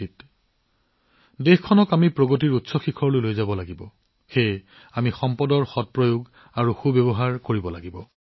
আমি দেশখনক উন্নয়নৰ এক নতুন উচ্চতালৈ লৈ যাব লাগিব সেয়েহে আমি কৰিব লগা প্ৰতিটো সম্পদৰ সম্পূৰ্ণ ব্যৱহাৰ কৰিব লাগিব